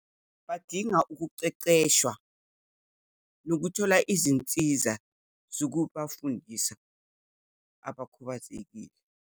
Badinga ukuqeqeshwa, nokuthola izinsiza zokubafundisa abakhubazekile.